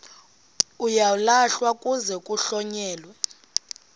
uyalahlwa kuze kuhlonyelwe